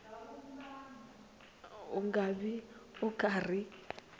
u nga vi u karhi